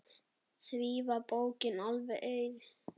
Því var bókin alveg auð.